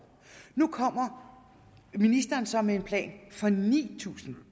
nu kommer ministeren så med en plan for ni tusind